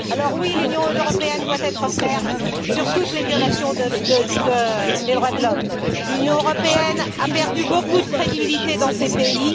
Oui, l'Union européenne doit être ferme sur toutes les violations des droits de l'homme. L'Union européenne a perdu beaucoup de crédibilité dans ces pays.